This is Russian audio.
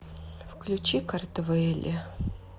включи картвэлли